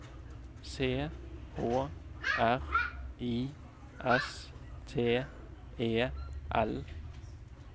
C H R I S T E L